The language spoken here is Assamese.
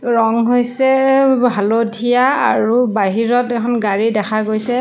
ৰং হৈছে-- হালধীয়া আৰু বাহিৰত এখন গাড়ী দেখা গৈছে।